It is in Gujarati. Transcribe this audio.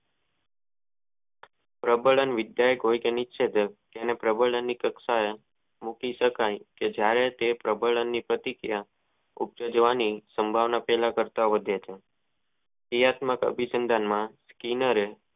ઓબલાન વિધાકો ની તેને પ્રબંન ની મૂકી શકાય કે જયારે તે પ્રબંન ની પ્રતિક્રિયા તે ક્રિયાતંક